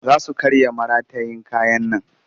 Za su karya maratayin kayan nan